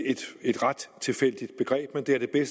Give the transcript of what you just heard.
et ret tilfældigt begreb men det er det